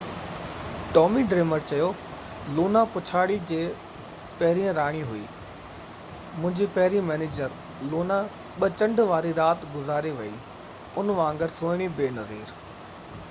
Tommy Dreamer چيو Luna پڇاڙي جي پهرين راڻي هئي منهنجي پهرين مئنيجر لونا ٻہ چنڊ واري رات گذاري ويئي ان وانگر سهڻي بي نظير